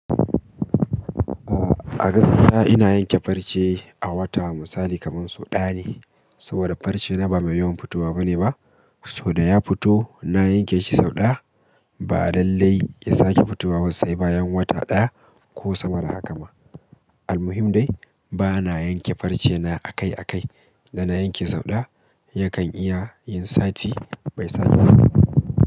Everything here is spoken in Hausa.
A a gaskiya ina yanke farce a wata misali kamar sau ɗaya ne. Saboda farce na ba mai yawan fitowa bane ba. Sauda ya fito na yanke shi sau ɗaya ba lallai ya sake fitowa sai bayan wata ɗaya ko sama da haka ma. Almuhim dai bana yanke farce na akai-akai, da na yanke sau ɗaya yakan iya yin sati bai sake fitowa ba.